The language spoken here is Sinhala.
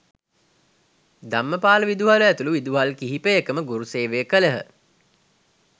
ධම්මපාල විදුහල ඇතුළු විදුහල් කිහිපයකම ගුරු සේවය කළහ